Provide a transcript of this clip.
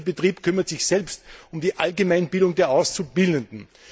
Jeder fünfte Betrieb kümmert sich selbst um die Allgemeinbildung der Auszubildenden.